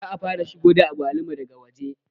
Za a fara shigo da agwaluma daga waje